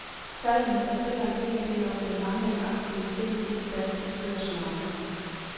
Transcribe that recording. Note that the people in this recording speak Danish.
Tallene fortæller en hel del om den manglende aktivitet i det danske børsmarked.